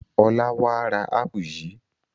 Ọlá wà á ra ápù yìí!